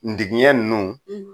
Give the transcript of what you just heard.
Ndigiɲɛ ninnu